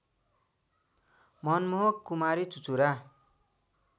मनमोहक कुमारी चुचुरा